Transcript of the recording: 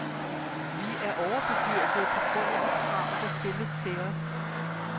Vi er overbebyrdede på grund de krav, der stilles til os.